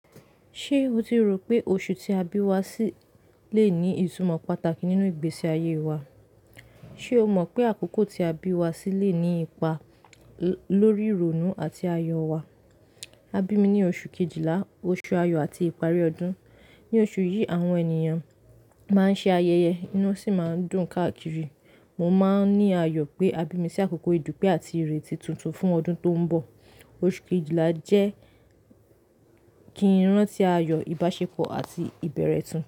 Ṣé o ti rò pé oṣù tí a bí wá sí lè ní ìtumọ̀ pàtàkì nínú ìgbésí ayé wa? Ṣé o mọ̀ pé àkókò tí a bí wá sí le ní ipa lórí ìrònú àti ayọ̀ wa? A bí mi ní oṣù Kejìlá, oṣù ayọ̀ àti ìparí ọdún. Ní oṣù yìí, àwọn ènìyàn máa ń ṣe ayẹyẹ inú sì máa ń dùn káàkiri. Mo máa ń ní ayọ̀ pé a bí mi sí àkókò ìdúpẹ́ àti ìrètí tuntun fún ọdún tó ń bọ̀. Oṣù Kejìlá jẹ́ kí ń rántí ayọ̀, ìbáṣepọ̀ àti ìbẹ̀rẹ̀ tuntun.